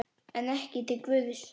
En ekki til Guðs.